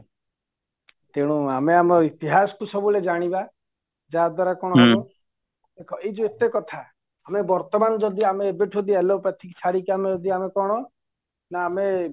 ତେଣୁ ଆମେ ଆମ ଇତିହାସକୁ ସବୁବେଳେ ଜାଣିବା ଯାହାଦ୍ଵାରା କ'ଣ ହବ ଦେଖା ଯୋଉ ଅଟେ କଥା ଆମ ବର୍ତମାନ ଯଦି ଆମେ ଏବେଠୁ ଏଲୋପାତିକ ଛାଡିକି ଆମେ ଯଦି ଆମେ କ'ଣ ନା ଆମେ